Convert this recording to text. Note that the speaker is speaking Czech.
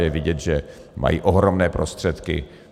Je vidět, že mají ohromné prostředky.